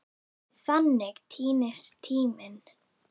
Þannig týnist tíminn.